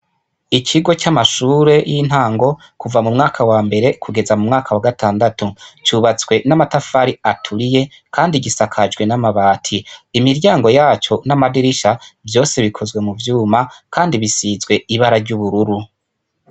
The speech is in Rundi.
Ikigo c'amashure y'intango ,kuva m'umwaka wambere kugeza m'umwaka wa gatandatu ,cubatswe n'amatafari aturiye kandi gisakajwe n'amabati. Imiryango yaco n'amadirisha vyose bikozwe muvyuma, kandi bisizwe ibara ry'ubururu.